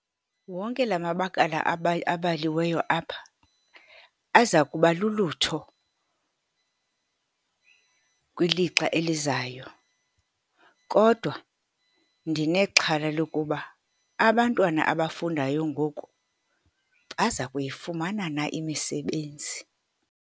Wonke la mabakala abaliweyo apha, aza kuba lulutho kwilixa elizayo, kodwa ndinexhala lokuba abantwana abafundayo ngoku baza kuyifumana na imisebenzi.